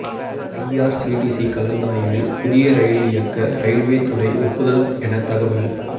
IRCTC கலந்தாய்வில் புதிய rail இயக்க ரயில்வே துறை ஒப்புதல் என தகவல்